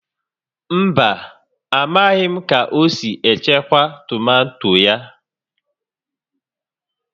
Mba, amaghị m ka o si echekwa tomato ya